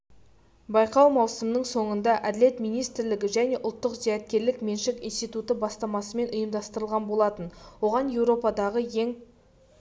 байқау маусымның соңында әділет министрлігі және ұлттық зияткерлік меншік институты бастамасымен ұйымдастырылған болатын оған еуропадағы ең